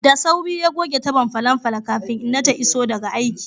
Da sauri ya goge tabon falon falo kafin inna ta iso daga aiki.